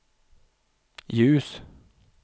ljus